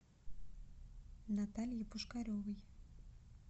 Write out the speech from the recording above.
наталье пушкаревой